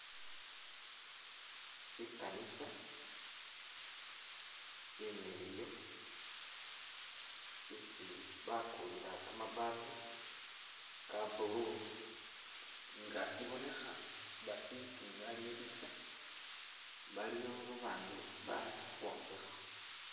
I kanisa imiliyu isi bakulila kama baati ka blue nga ibonekha basikimalilisa baliwo babandu bali khukhombekhakho.